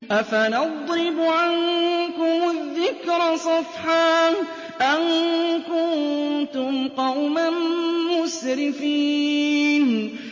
أَفَنَضْرِبُ عَنكُمُ الذِّكْرَ صَفْحًا أَن كُنتُمْ قَوْمًا مُّسْرِفِينَ